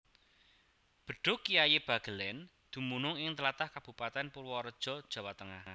Bedhug Kyai Bagelén dumunung ing tlatah Kabupatèn Purwareja Jawa Tengah